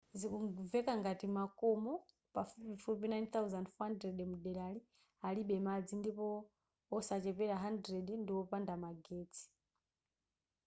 zikumveka ngati makomo pafupifupi 9,400 mdelari alibe madzi ndipo osachepera 100 ndiwopanda magetsi